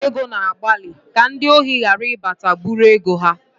Ụlọ ọba ego na-agbalị ka ndị ohi ghara ịbata bụ̣rụ ego ha